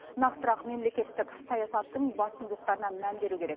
нақтырақ мемлекеттік саясаттың басымдылықтарына мән беру керек